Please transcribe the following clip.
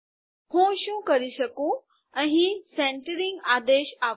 હું શું કરી શકું અહીં સેન્તેરીંગ આદેશ આપું